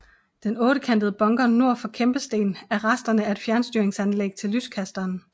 Den ottekantede bunker nord for kæmpestenen er resterne af et fjernstyringsanlæg til lyskasteren